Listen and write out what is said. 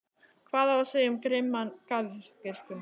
Hvað á að segja um svo grimman garðyrkjumann?